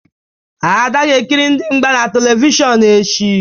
Ada ga-ekiri ndị mgba na Televishọnụ echi.